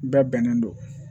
Bɛɛ bɛnnen don